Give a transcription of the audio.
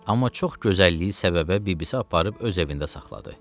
Amma çox gözəlliyi səbəbə bibisi aparıb öz evində saxladı.